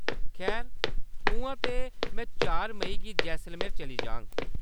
खैर .. उʼआं ते, मैं चार मेई गी जैसलमेर चली जाङ।